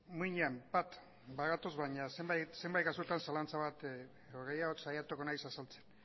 muinean bat bagatoz baina zenbait kasuetan zalantza bat edo gehiago saiatuko naiz azaltzen